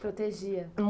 Protegia?